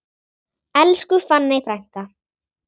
Elsku fanney frænka.